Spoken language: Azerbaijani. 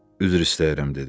Üzr istəyirəm dedi.